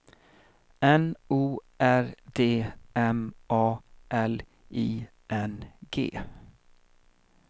N O R D M A L I N G